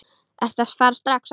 Ertu að fara strax aftur?